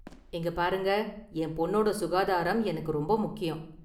இங்க பாருங்க, என் பொண்ணோட சுகாதாரம் எனக்கு ரொம்ப முக்கியம்.